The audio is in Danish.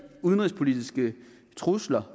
udenrigspolitiske trusler